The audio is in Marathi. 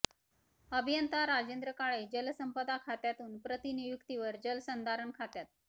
अभियंता राजेंद्र काळे जलसंपदा खात्यातून प्रतिनियुक्तीवर जल संधारण खात्यात